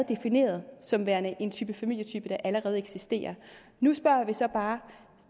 defineret som værende en type familie der allerede eksisterer nu spørger vi så bare